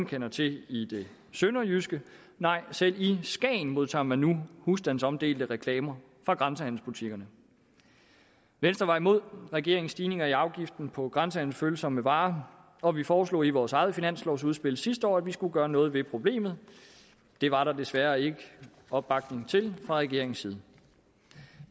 kender til i det sønderjyske nej selv i skagen modtager man nu husstandsomdelte reklamer fra grænsehandelsbutikkerne venstre var imod regeringens stigninger i afgiften på grænsehandelsfølsomme varer og vi foreslog i vores eget finanslovsudspil sidste år at man skulle gøre noget ved problemet det var der desværre ikke opbakning til fra regeringens side